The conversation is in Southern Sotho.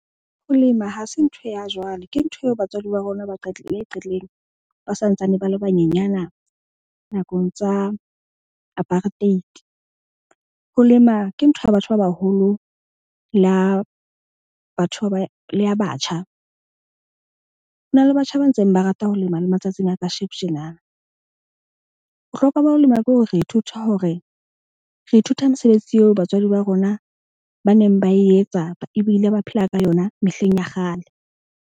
Ho lema ha se ntho ya jwale, ke ntho eo batswadi ba rona ba ba qetileng ba santsane ba le banyenyana nakong tsa apartheid. Ho lema ke ntho ya batho ba baholo la batho ba le ya batjha. Ho na le batjha ba ntseng ba rata ho lema le matsatsing a ka sheko tjena. Bohlokwa ba ho lema ke hore re ithuta hore re ithuta mesebetsi eo batswadi ba rona ba neng ba e etsa ebile ba phela ka yona mehleng ya kgale.